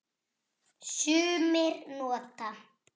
Sumir nota